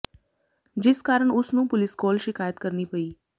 ਜਿਸ ਕਾਰਨ ਉਸ ਨੂੰ ਪੁਲਿਸ ਕੋਲ ਸ਼ਿਕਾਇਤ ਕਰਨੀ ਪਈ